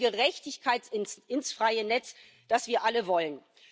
Und wir bringen Gerechtigkeit ins freie Netz, das wir alle wollen.